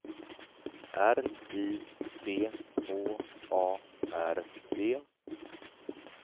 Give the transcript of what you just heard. R I C H A R D